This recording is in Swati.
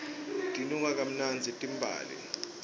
tinuka kamnandzi timbali